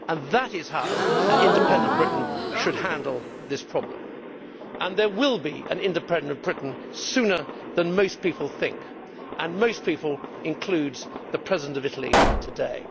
That is how an independent Britain should handle this problem, and there will be an independent Britain sooner than most people think and that most people' includes the President of Italy today.